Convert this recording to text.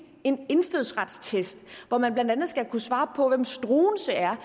en indfødsretstest hvor man blandt andet skal kunne svare på hvem struense er